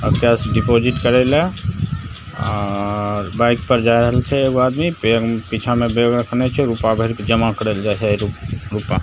आब cash deposit करेले आर बाइक पे जा रहल छै | एगो आदमी बैग पीछा में बैग रखने छै रूपा भर के जमा करे ले जाय छै रूपा --